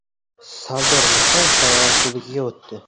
Sardor Mirzayev Tailand klubiga o‘tdi.